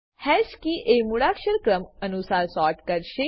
hash key એ મૂળાક્ષર ક્રમ અનુસાર સોર્ટ કરશે